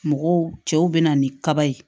Mɔgɔw cɛw bɛ na ni kaba ye